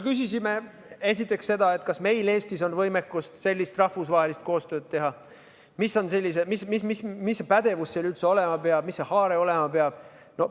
Küsisime esiteks seda, kas meil Eestis on võimekust sellist rahvusvahelist koostööd teha, mis pädevus seal üldse olema peab, mis haare olema peab.